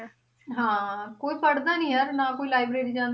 ਹਾਂ ਕੋਈ ਪੜ੍ਹਦਾ ਨੀ ਯਾਰ ਨਾ ਕੋਈ library ਜਾਂਦਾ